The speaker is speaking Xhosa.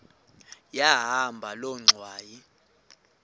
yahamba loo ngxwayi